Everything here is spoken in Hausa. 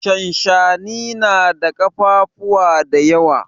Shanshani na da kafafuwa da yawa.